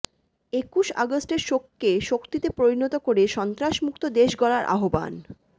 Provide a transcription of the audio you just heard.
একুশ অগাস্টের শোককে শক্তিতে পরিণত করে সন্ত্রাসমুক্ত দেশ গড়ার আহ্বান